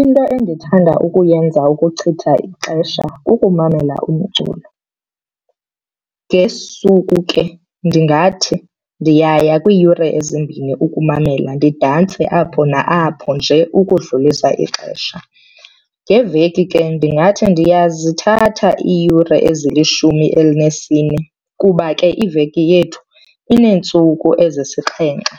Into endithanda ukuyenza ukuchitha ixesha kukumamela umculo. Ngesuku ke ndingathi ndiyaya kwiiyure ezimbini ukumamela didantse apho na apho nje ukudlulisa ixesha. Ngeveki ke ndingathi ndiyazithatha iiyure ezilishumi elinesine kuba ke iveki yethu ineentsuku ezisixhenxe